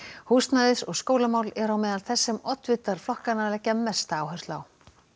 húsnæðis og skólamál eru á meðal þess sem oddvitar flokkanna leggja mesta áherslu á